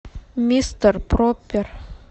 мистер проппер